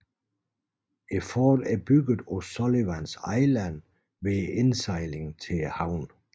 Fortet er bygget på Sullivans Island ved indsejlingen til havnen